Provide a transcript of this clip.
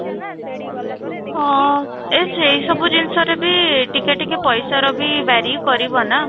ହଁ, ଏ ସେଇ ସବୁ ଜିନିଷରେ ବି ଟିକେ ଟିକେ ପଇସାର ବି vary କରିବ ନା